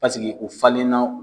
o falenna